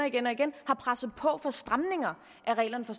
igen og igen har presset på for at få stramninger af reglerne for